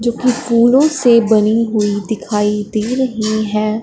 जो कि फूलों से बनी हुई दिखाई दे रही है।